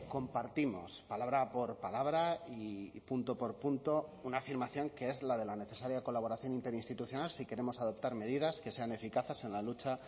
compartimos palabra por palabra y punto por punto una afirmación que es la de la necesaria colaboración interinstitucional si queremos adoptar medidas que sean eficaces en la lucha